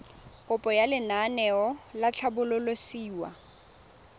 kopo ya lenaane la tlhabololosewa